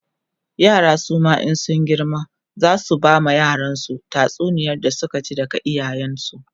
yara suma in sun girma zasu bama yaransu tatsuniyar da Suka ji daga iyayen su